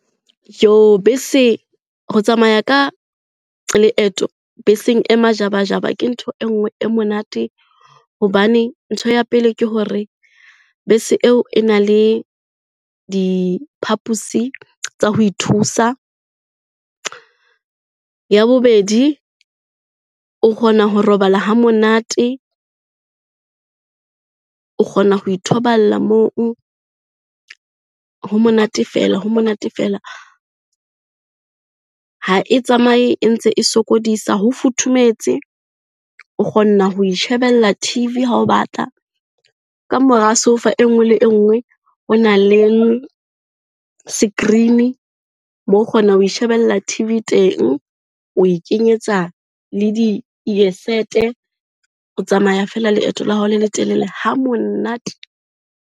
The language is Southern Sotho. Bese, ho tsamaya ka leeto beseng e majabajaba ke ntho e nngwe e monate. Hobane ntho ya pele ke hore bese eo e na le diphapusi tsa ho ithusa, ya bobedi o kgona ho robala ha monate, o kgona ho ithoballa moo, ho monate fela ho monate fela. Ha e tsamaye e ntse e sokodisa ho futhumetse, o kgona ho itjhebella T_V ha o batla, kamora soufa e nngwe le engwe hona le screen-e, moo o kgona ho ishebella T_V teng, o ikenyetsa le di . O tsamaya fela leeto la hao le letelele ha monate.